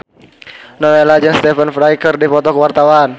Nowela jeung Stephen Fry keur dipoto ku wartawan